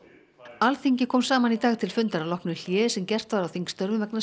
Alþingi kom saman í dag til fundar að loknu hléi sem gert var á þingstörfum vegna